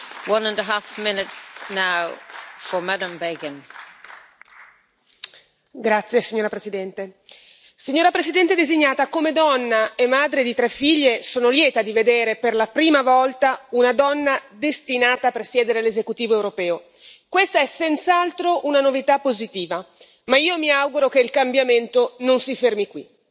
Signora Presidente, onorevoli colleghi, signora Presidente designata come donna e madre di tre figlie, sono lieta di vedere per la prima volta una donna destinata a presiedere l'esecutivo europeo. Questa è senz'altro una novità positiva. Ma io mi auguro che il cambiamento non si fermi qui.